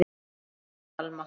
Þín Alma.